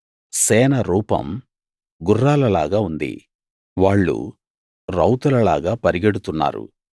సేన రూపం గుర్రాల లాగా ఉంది వాళ్ళు రౌతులలాగా పరుగెడుతున్నారు